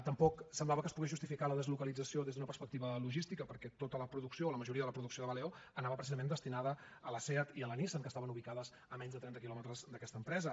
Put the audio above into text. tampoc semblava que es pogués justificar la deslocalització des d’una perspectiva logística perquè tota la producció o la majoria de la producció de valeo anava precisament destinada a la seat i a la nissan que estaven ubicades a menys de trenta quilòmetres d’aquesta empresa